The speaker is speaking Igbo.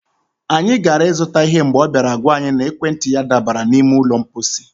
anyị gara ịzụta ihe mgbe ọ bịara gwa anyị na ekwentị ya dabara n'ime ụlọ mkposi.